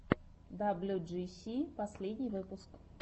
даблюджиси последний выпуск